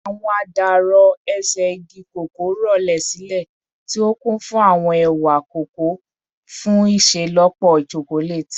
Awọn adarọ-ese igi koko rọlẹ silẹ, ti o kun fun awọn ewa koko fun iṣelọpọ chocolate